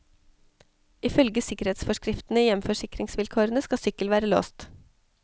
Ifølge sikkerhetsforskriftene i hjemforsikringsvilkårene skal sykkel være låst.